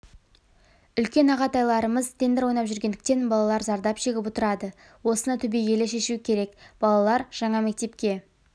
үлкен ағатайларымыз тендер ойнап жүретіндіктен балалар зардап шегіп отырады осыны түбегейлі шешу керек балалар жаңа мектепке